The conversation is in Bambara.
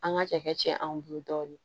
An ka cɛ anw bolo dɔɔnin